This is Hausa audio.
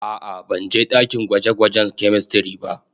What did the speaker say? A'a, ban je dakin gwaje-gwajen "chemistry" ba.